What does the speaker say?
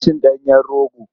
Ana cin ɗanyen rogo.